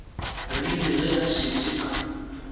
rile ge a šetše a